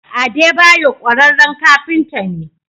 Adebayor ƙwararren kafinta ne.